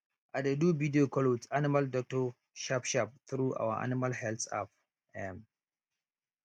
i dey do video call with animal doctor sharpsharp through our animal health app um